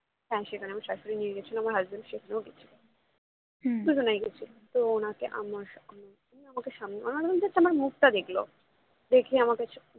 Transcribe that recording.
হ্যাঁ সেখানে আমার স্বাশুড়ীই নিয়ে গেছিলো আমার husband সেখানেও গেছিল দুজনেই গেছিলো তো ওনাকে আমার আমার সামনে মানে আমার just মুখটা দেখলো দেখেই আমাকে